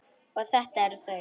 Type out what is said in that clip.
Og þetta eru þau.